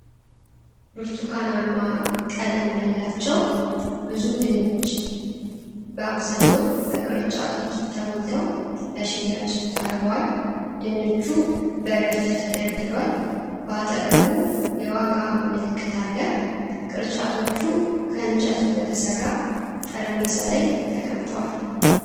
ብርቱካናማ ቀለም ያላቸው ብዙ ድንች በአብዛኛው በቅርጫቶች ተሞልተው ለሽያጭ ቀርበዋል። ድንቹ በረድፍ ተደርድሯል። በአጠገቡ የዋጋ ምልክት አለ። ቅርጫቶቹ ከእንጨት በተሠራ ጠረጴዛ ላይ ተቀምጠዋል።